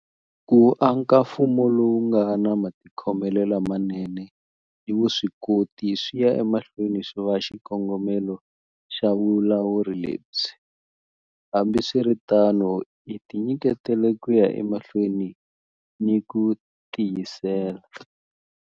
Ku aka mfumo lowu nga na matikhomelo lamanene ni vuswikoti swi ya emahlweni swi va xikongomelo xa vulawuri lebyi. Hambiswiritano hi tinyiketele ku ya emahlweni ni ku tiyisela.